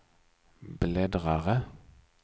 bläddrare